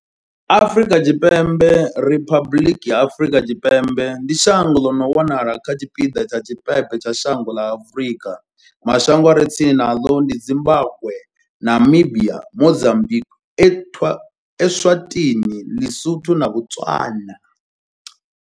Afrika Tshipembe Riphabuḽiki ya Afrika Tshipembe ndi shango ḽi no wanala kha tshipiḓa tsha tshipembe tsha dzhango ḽa Afurika. Mashango a re tsini naḽo ndi Zimbagwe, Namibia, Mozambikwi, Eswatini, Ḽisotho na Botswana.